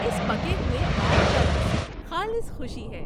اس پکے ہوئے آم کا رس خالص خوشی ہے۔